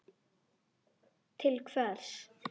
Til hvers?